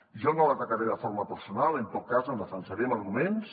jo no l’atacaré de forma personal en tot cas em defensaré amb arguments